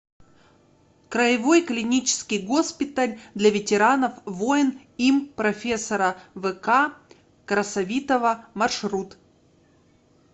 краевой клинический госпиталь для ветеранов войн им профессора вк красовитова маршрут